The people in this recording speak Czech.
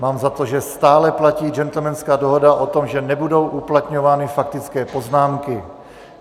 Mám za to, že stále platí gentlemanská dohoda o tom, že nebudou uplatňovány faktické poznámky.